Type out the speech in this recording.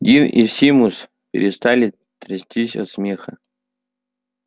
дин и симус перестали трястись от смеха